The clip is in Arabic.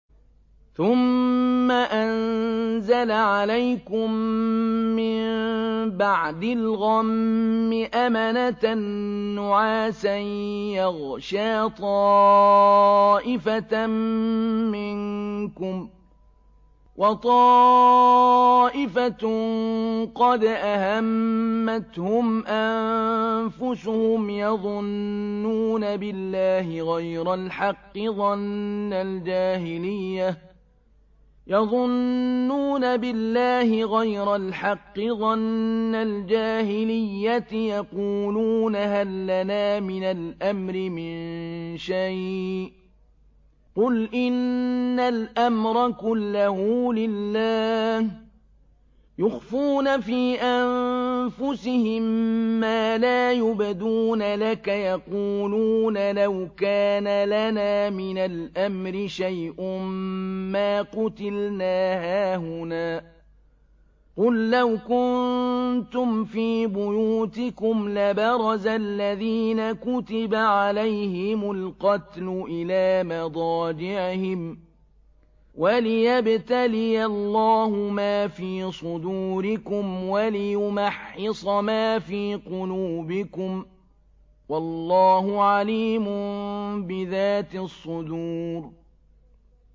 ثُمَّ أَنزَلَ عَلَيْكُم مِّن بَعْدِ الْغَمِّ أَمَنَةً نُّعَاسًا يَغْشَىٰ طَائِفَةً مِّنكُمْ ۖ وَطَائِفَةٌ قَدْ أَهَمَّتْهُمْ أَنفُسُهُمْ يَظُنُّونَ بِاللَّهِ غَيْرَ الْحَقِّ ظَنَّ الْجَاهِلِيَّةِ ۖ يَقُولُونَ هَل لَّنَا مِنَ الْأَمْرِ مِن شَيْءٍ ۗ قُلْ إِنَّ الْأَمْرَ كُلَّهُ لِلَّهِ ۗ يُخْفُونَ فِي أَنفُسِهِم مَّا لَا يُبْدُونَ لَكَ ۖ يَقُولُونَ لَوْ كَانَ لَنَا مِنَ الْأَمْرِ شَيْءٌ مَّا قُتِلْنَا هَاهُنَا ۗ قُل لَّوْ كُنتُمْ فِي بُيُوتِكُمْ لَبَرَزَ الَّذِينَ كُتِبَ عَلَيْهِمُ الْقَتْلُ إِلَىٰ مَضَاجِعِهِمْ ۖ وَلِيَبْتَلِيَ اللَّهُ مَا فِي صُدُورِكُمْ وَلِيُمَحِّصَ مَا فِي قُلُوبِكُمْ ۗ وَاللَّهُ عَلِيمٌ بِذَاتِ الصُّدُورِ